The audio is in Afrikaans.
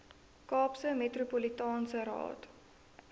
kaapse metropolitaanse raad